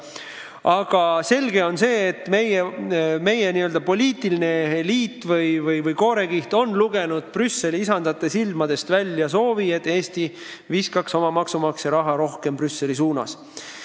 Aga selge on, et meie n-ö poliitiline eliit ehk koorekiht on lugenud Brüsseli isandate silmadest välja soovi, et Eesti viskaks oma maksumaksja raha rohkem Brüsseli suunas.